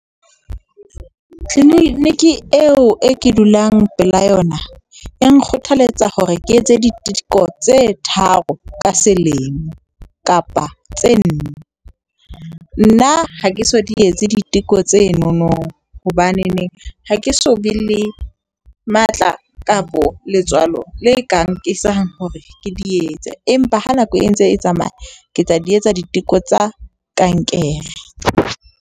Clinic eo e ke dulang pela yona e nkgothaletsa hore ke etse diteko tse tharo ka selemo kapa tse nne. Nna ha ke so di etse diteko tsenono. Hobaneneng ha ke so be le matla kapo letswalo le ka nkisang hore ke di etse, empa ha nako e ntse e tsamaya ke tla di etsa diteko tsa kankere.